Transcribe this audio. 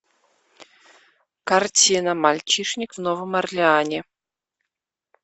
картина мальчишник в новом орлеане